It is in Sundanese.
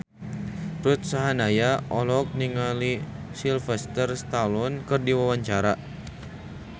Ruth Sahanaya olohok ningali Sylvester Stallone keur diwawancara